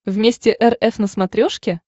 вместе эр эф на смотрешке